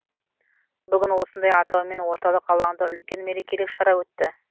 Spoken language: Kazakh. бүгін осындай атаумен орталық алаңда үлкен мерекелік шара өтті